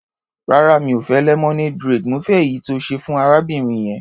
Rárá, mi ò fẹ́ lemonade braid, mo fẹ́ èyí tí o ṣe fún arábìnrin yẹn.